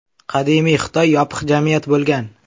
Qadimiy Xitoy yopiq jamiyat bo‘lgan.